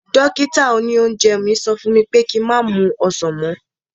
Dókítà òní oúnjẹ mi sọ fún mi pé ki má mu ọsàn mọ́